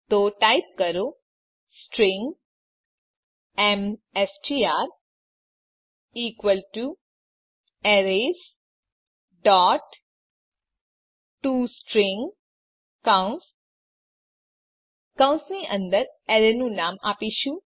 તો ટાઈપ કરો string MSTR equal to arrays dot to string કૌંસ કૌંસની અંદર એરે નું નામ આપીશું